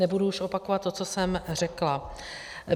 Nebudu už opakovat to, co jsem řekla.